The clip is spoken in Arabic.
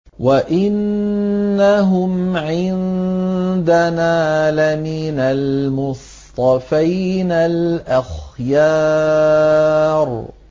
وَإِنَّهُمْ عِندَنَا لَمِنَ الْمُصْطَفَيْنَ الْأَخْيَارِ